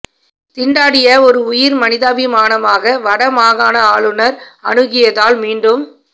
திண்டாடிய ஒரு உயிர் மனிதாபிமானமாக வட மாகாண ஆளுனர் அனுகியதினால் மீண்டும்